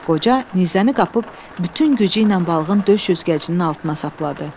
Qoca nizəni qapıb bütün gücüylə balığın döş üzgəcinin altına sapladı.